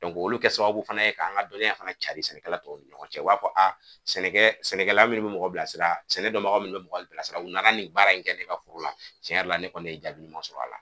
olu bɛ kɛ sababu fana ye k'an ka dɔnniya fana canri sɛnɛkɛla tɔw ni ɲɔgɔn cɛ u b'a fɔ sɛnɛkɛ sɛnɛkɛla minnu mɔgɔ bila sira sɛnɛ dɔnbaga minnu bɛ mɔgɔ bila sira u nana nin baara in kɛ ne ka foro la tiɲɛ yɛrɛ la ne kɔni ye jaabi ɲuma sɔrɔ a la.